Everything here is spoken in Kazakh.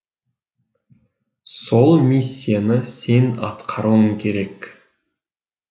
сол миссияны сен атқаруың керек